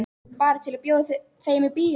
Bara til að bjóða þeim í bíó.